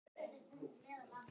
Ég var níu ára, segir Júlía.